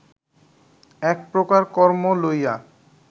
এক প্রকার কর্ম লইয়া